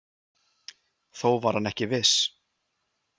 Þó var hann ekki viss.